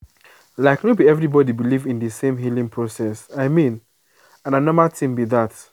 like no be everybody believe in the same healing process i mean and na normal tin be that.